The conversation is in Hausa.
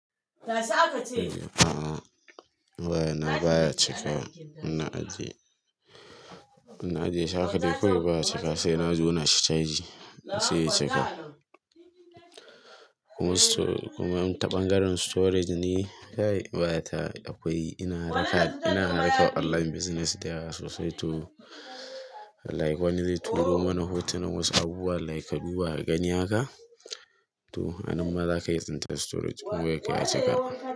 A'a baya nan, baya cikin. Ina ajiye, ina ajiye shi haka dai baya cika sai na jona shi caji sai ya cika. Kuma ta ɓangaren storage ne kai waya ta akwai, ina harka, ina harkan online business dayawa sosai to like wani zai turo mana hotunan wasu abubuwa like haduwa a gani haka to anan ma za ka yi tsinta storage kuma yake ya cika.